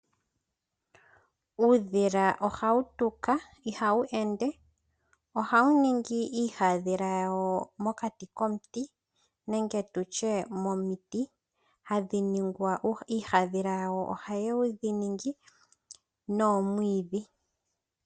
Uudhila ohawu tuka ihawu ende, ohawu ningi iihadhila yawo mokati komuti nenge tutye momiti hadhi ningwa, iihadhila yawo ohawu ningi noomwiidhi.